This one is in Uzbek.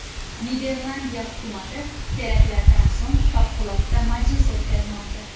Niderlandiya hukumati teraktlardan so‘ng favqulodda majlis o‘tkazmoqda.